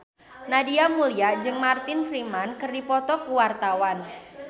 Nadia Mulya jeung Martin Freeman keur dipoto ku wartawan